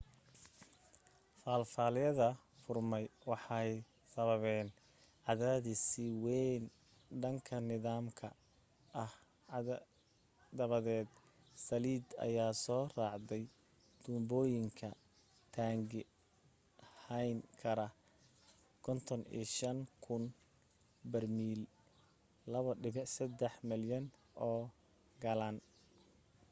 faalafyada furmay waxay sababeen cadaadis sii deyn dhanka nidaamka ah dabadeed saliid ayaa soo raacday tuubooyinka taangi hayn kara 55,000 barmiil 2.3 malyan oo galaan